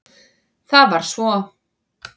Það var svo